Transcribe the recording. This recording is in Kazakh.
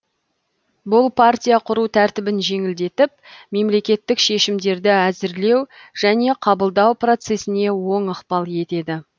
бұл партия құру тәртібін жеңілдетіп мемлекеттік шешімдерді әзірлеу және қабылдау процессіне оң ықпал етеді